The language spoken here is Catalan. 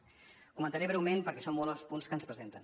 els comentaré breument perquè són molts els punts que ens presenten